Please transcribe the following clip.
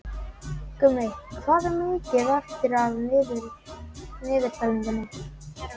Gummi, hvað er mikið eftir af niðurteljaranum?